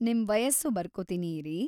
ನಿಮ್ ವಯಸ್ಸು ಬರ್ಕೋತೀನಿ ಇರಿ.